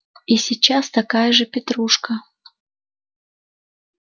и сейчас такая же петрушка